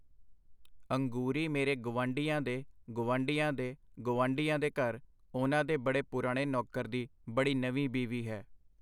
ਅੰਗੂਰੀ ਮੇਰੇ ਗਵਾਂਢੀਆਂ ਦੇ ਗਵਾਂਢੀਆਂ ਦੇ ਗਵਾਂਢੀਆਂ ਦੇ ਘਰ, ਉਹਨਾਂ ਦੇ ਬੜੇ ਪੁਰਾਣੇ ਨੌਕਰ ਦੀ ਬੜੀ ਨਵੀਂ ਬੀਵੀ ਹੈ.